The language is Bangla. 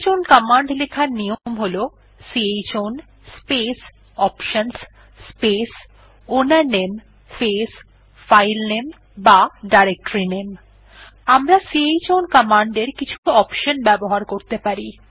চাউন কমান্ড লেখার নিয়ম হল chown space options space owner name space filename বা ডিরেক্টরিনামে আমরা চাউন কমান্ড এর কিছু অপশনস ব্যবহার করতে পারি